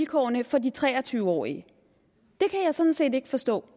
vilkårene for de tre og tyve årige det kan jeg sådan set ikke forstå